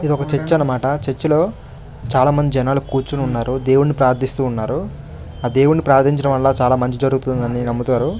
ఇదొక చర్చ అన్నమాట చర్చ లో చాలా మంది జనాలు కూర్చొని ఉన్నారు దేవుణ్ణి ప్రార్థస్తున్నాను ఆ దేవుణ్ణి ప్రార్థించడం వళ్ళ చాలా మంచి జరుగుతుంది అని నమ్ముతారు.